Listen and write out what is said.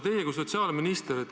Te olete sotsiaalminister.